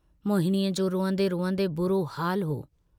मोहिनीअ जो रुअन्दे रुअन्दे बुरो हालु हो।